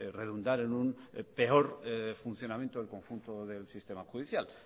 redundar en un peor funcionamiento del conjunto del sistema judicial